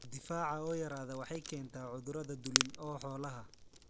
Difaaca oo yaraada waxay keentaa cudurrada dulin ee xoolaha.